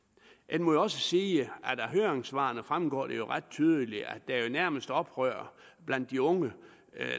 må også sige at af høringssvarene fremgår det jo ret tydeligt at der nærmest er oprør blandt de unge